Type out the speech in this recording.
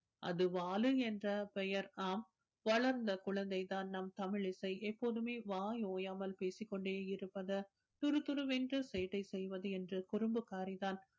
அது வாலு என்ற பெயர் ஆம் வளர்ந்த குழந்தை தான் நம் தமிழிசை எப்போதுமே வாய் ஓயாம பேசிக் கொண்டே இருப்பது துறுதுறுவென்று சேட்டை செய்வது என்று குறும்புக்காரிதான்